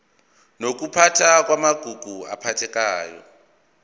nokuphathwa kwamagugu aphathekayo